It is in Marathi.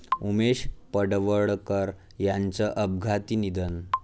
उमेश पडवळकर यांचं अपघाती निधन